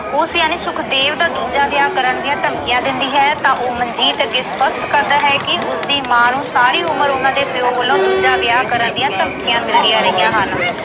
ਉਸ ਯਾਨੀ ਸੁਖਦੇਵ ਦਾ ਦੂਜਾ ਵਿਆਹ ਕਰਨ ਦੀਆਂ ਧਮਕੀਆਂ ਦਿੰਦੀ ਹੈ ਤਾਂ ਉਹ ਮਨਜੀਤ ਅੱਗੇ ਸਪੱਸ਼ਟ ਕਰਦਾ ਹੈ ਕਿ ਉਸਦੀ ਮਾਂ ਨੂੰ ਸਾਰੀ ਉਮਰ ਉਨ੍ਹਾਂ ਦੇ ਪਿਓ ਵੱਲੋਂ ਦੂਜਾ ਵਿਆਹ ਕਰਨ ਦੀਆਂ ਧਮਕੀਆਂ ਮਿਲਦੀਆਂ ਰਹੀਆਂ ਹਨ।